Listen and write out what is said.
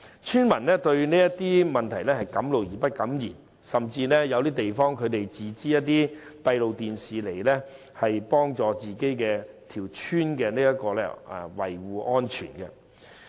村民敢怒而不敢言，甚至在某些地方自資裝設閉路電視，幫助本村村民，維護安全。